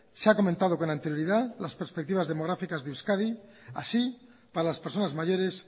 se ha comentado con anterioridad las perspectivas demográficas de euskadi así para las personas mayores